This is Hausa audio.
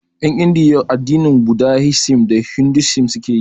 En Indiya addinin budahisim da hindusim suke yi